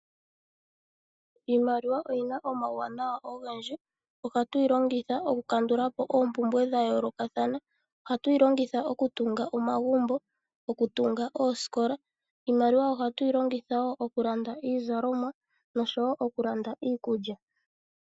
Iimaliwa oyina omauwanawa ogendji, ohatwiilongitha oku kandulapo oompumbwe dhetu dha yoolokathana. Ohatwiilongitha okutunga omagumbo, okutunga oositola, oha twiilanditha iizalomwa nosho woo okulanda iikulya.